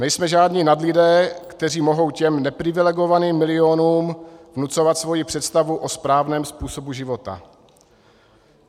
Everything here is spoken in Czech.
Nejsme žádní nadlidé, kteří mohou těm neprivilegovaným milionům vnucovat svoji představu o správném způsobu života.